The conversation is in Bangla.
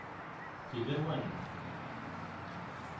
figure 1